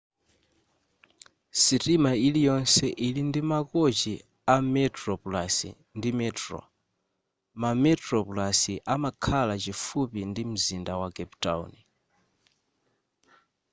sitima iliyonse ili ndi makochi a metroplus ndi metro ma metroplus amakhala chifupi ndi mzinda wa cape town